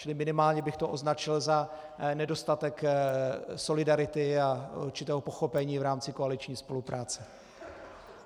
Čili minimálně bych to označil za nedostatek solidarity a určitého pochopení v rámci koaliční spolupráce.